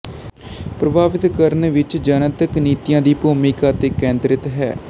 ਪ੍ਰਭਾਵਿਤ ਕਰਨ ਵਿੱਚ ਜਨਤਕ ਨੀਤੀ ਦੀ ਭੂਮਿਕਾ ਤੇ ਕੇਂਦਰਿਤ ਹੈ